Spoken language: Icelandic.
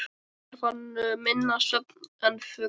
Þarf hann minna svefn en fugl.